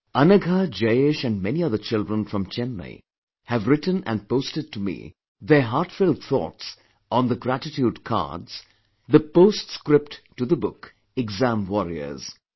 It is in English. Anagha, Jayesh and many other children from Chennai have written & posted to me their heartfelt thoughts on the gratitude cards, the post script to the book 'Exam Warriors'